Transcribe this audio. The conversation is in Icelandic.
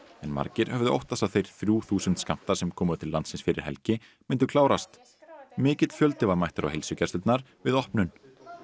en margir höfðu óttast að þeir þrjú þúsund skammtar sem komu til landsins fyrir helgi myndu klárast mikill fjöldi var mættur á heilsugæslurnar við opnun